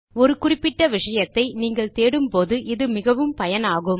ஒரு குறிப்பிட்ட விஷயத்தை நீங்கள் தேடும்போது இது மிகவும் பயனாகும்